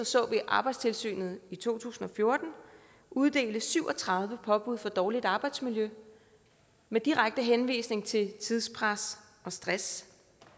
så vi arbejdstilsynet i to tusind og fjorten uddelte syv og tredive påbud for dårligt arbejdsmiljø med direkte henvisning til tidspres og stress